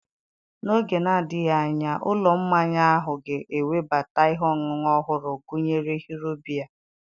N'oge na-adịghị anya ụlọ mmanya ahụ ga-ewebata ihe ọṅụṅụ ọhụrụ gụnyere Hero Beer